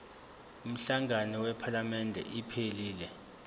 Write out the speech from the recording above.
umhlangano wephalamende iphelele